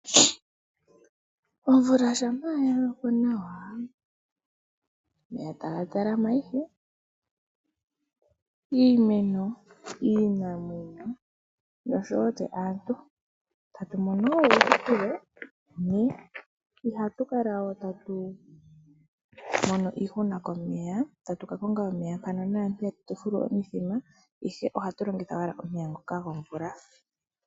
Omvula shampa ya loko nawa, omeya taga talama ihe, iimeno, iinamwenyo noshowo tse aantu tatu mono wo uuhupilo. Ihatu kala we tatu mono iihuna komeya, tatu ka konga omeya mpaka naampeya ka, tatu ka fula omithima, ihe ohatu longitha owala omeya ngoka gomvula.